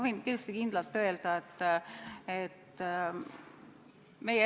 Meie erakond selle eelnõu siia tõi.